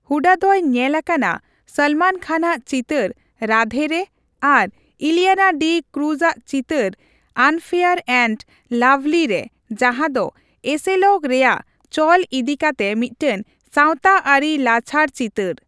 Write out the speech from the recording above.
ᱦᱩᱰᱟ ᱫᱚᱭ ᱧᱮᱞ ᱟᱠᱟᱱᱟ ᱥᱚᱞᱢᱚᱱ ᱠᱷᱟᱱ ᱟᱜ ᱪᱤᱛᱟᱹᱨ 'ᱨᱟᱫᱷᱮ' ᱼᱨᱮ ᱟᱨ ᱤᱞᱤᱭᱟᱱᱟ ᱰᱤ ᱠᱩᱨᱩᱡ ᱟᱜ ᱪᱤᱛᱟᱹᱨ 'ᱟᱱᱯᱷᱮᱭᱟᱨ ᱮᱱᱰ ᱞᱟᱵᱷᱞᱤ' ᱨᱮ ᱡᱟᱦᱟᱸᱫᱚ ᱮᱥᱮᱞᱚᱜ ᱨᱮᱭᱟᱜ ᱪᱚᱞ ᱤᱫᱤᱠᱟᱛᱮ ᱢᱤᱫᱴᱟᱝ ᱥᱟᱣᱛᱟ ᱟᱹᱨᱤ ᱞᱟᱪᱷᱟᱲ ᱪᱤᱛᱟᱹᱨ ᱾